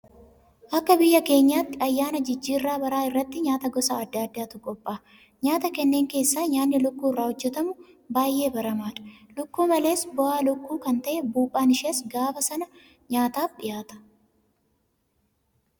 Akka biyya keenyaatti ayyaana jijjiirraa baraa irratti nyaata gosa adda addaatu qophaa'a. Nyaata kanneen keessaa nyaanni lukkuu irraa hojjetamu baay'ee baramaadha. Lukkuu malees bu'aa lukkuu kan ta'e Buuphaan ishees gaafa sana nyaataaf dhiyaata.